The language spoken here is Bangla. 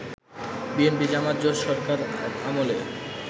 বিএনপি-জামায়াত জোটসরকার আমলে